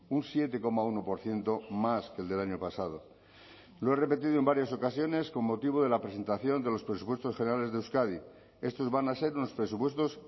un siete coma uno por ciento más que el del año pasado lo he repetido en varias ocasiones con motivo de la presentación de los presupuestos generales de euskadi estos van a ser unos presupuestos